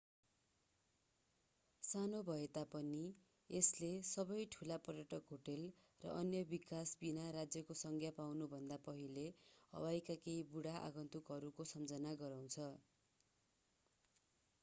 सानो भए तापनि यसले सबै ठूला पर्यटक होटेल र अन्य विकास बिना राज्यको संज्ञा पाउनुभन्दा पहिले हवाईका केही बुढा आगन्तुकहरूको सम्झना गराउँछ